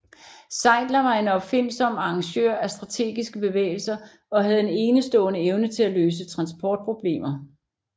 Zeitzler var en opfindsom arrangør af strategiske bevægelser og havde en enestående evne til at løse transportproblemer